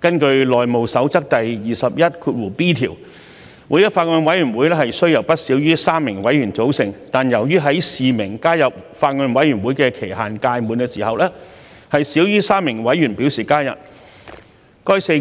根據《內務守則》第 21b 條，每一個法案委員會須由不少於3名委員組成，但由於在示明加入法案委員會的期限屆滿時，少於3名委員表示加入，該個擬